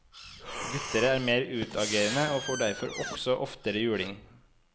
Gutter er mer utagerende og får derfor også oftere juling.